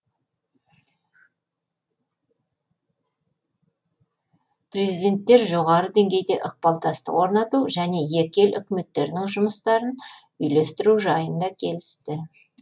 президенттер жоғары деңгейде ықпалдастық орнату және екі ел үкіметтерінің жұмыстарын үйлестіру жайын да келісті